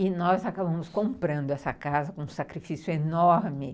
E nós acabamos comprando essa casa com um sacrifício enorme.